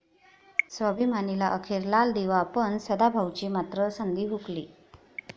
स्वाभिमानी'ला अखेर लालदिवा पण, सदाभाऊंची मात्र संधी हुकली